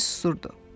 Bembi susurdu.